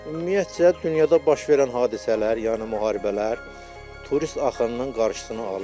Ümumiyyətcə dünyada baş verən hadisələr, yəni müharibələr turist axınının qarşısını alır.